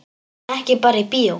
Ekki bara í bíó.